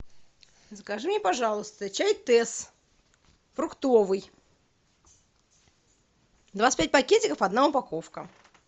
закажи мне пожалуйста чай тесс фруктовый двадцать пять пакетиков одна упаковка